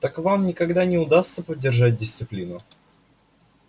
так вам никогда не удастся поддержать дисциплину